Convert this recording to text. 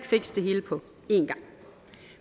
fikse det hele på en gang